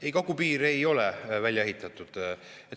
Ei, kagupiir ei ole välja ehitatud.